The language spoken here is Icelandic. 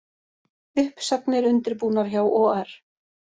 Uppsagnir undirbúnar hjá OR